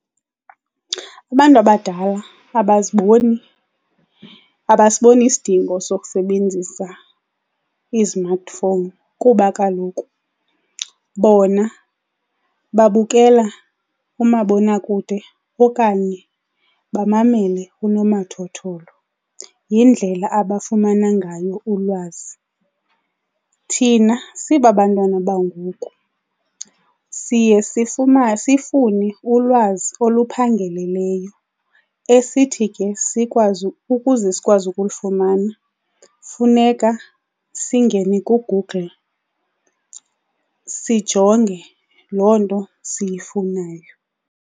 Abantu abadala abazibon,i abasiboni isidingo sokusebenzisa i-smartphone kuba kaloku bona babukela umabonakude okanye bamamele unomathotholo, yindlela abafumana ngayo ulwazi. Thina sibabantwana bangoku siye sifune ulwazi oluphangeleleyo esithi ke sikwazi ukuze sikwazi ukulifumana funeka singene kuGoogle sijonge loo nto siyifunayo.